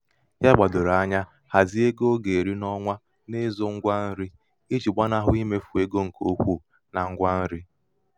ya gbàdòrò anya um hàzie hàzie ego ọ gà-èri n’ọnwa n’izū ṅgwa nrī ijì gbanahụ imefù ego ṅ̀kè ukwu na ṅgwa nri.